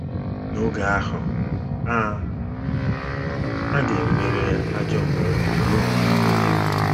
N’oge ahụ, a, a ga - emeri ajọ mbunobi ruo mgbe ebighị ebi.